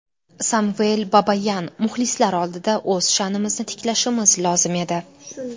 Samvel Babayan: Muxlislar oldida o‘z sha’nimizni tiklashimiz lozim edi .